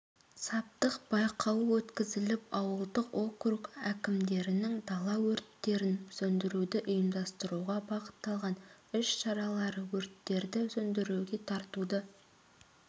саптық байқауы өткізіліп ауылдық округ әкімдерінің дала өрттерін сөндіруді ұйымдастыруға бағытталған іс-шаралары өрттерді сөндіруге тартуды